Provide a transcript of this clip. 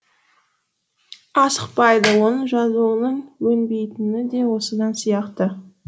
асықпайды оның жазуының өнбейтіні де осыдан сияқты